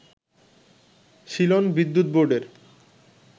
Ceylon বিদ্যুৎ বোর্ডের